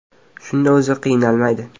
Shunda o‘zi qiynalmaydi.